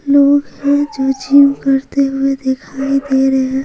लोग है जो जिम करते हुए दिखाई दे रहे--